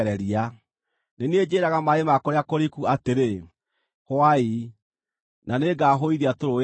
Nĩ niĩ njĩĩraga maaĩ ma kũrĩa kũriku atĩrĩ, ‘Hũai, na nĩngahũithia tũrũũĩ twanyu.’